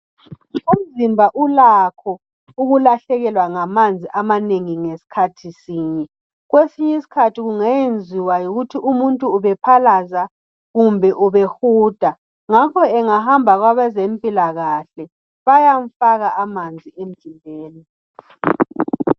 Umzimba ulakho ukulahlekelwa ngamanzi amanengi ngesikhathi sinye. Kwesinye isikhathi kungenziwa yikuthi umuntu ubephalaza kumbe ubehuda. Ngakho engahamba kwabeze mpilakahle bayamfaka amanzi emzimbeni.